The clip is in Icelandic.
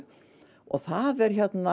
það er